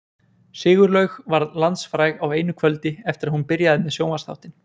Sigurlaug varð landsfræg á einu kvöldi eftir að hún byrjaði með sjónvarpsþáttinn.